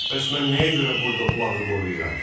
Bəs mən nəyə görə burda bulağı qoruyuram?